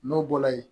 N'o bɔra yen